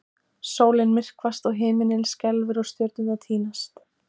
Sólin myrkvast og himinninn skelfur og stjörnurnar týnast!